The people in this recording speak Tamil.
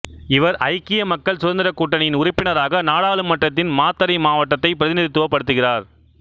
இவர் ஐக்கிய மக்கள் சுதந்திரக் கூட்டணியின் உறுப்பினராக நாடாளுமன்றத்தின் மாத்தறை மாவட்டத்தைப் பிரதிநிதித்துவப் படுத்துகிறார்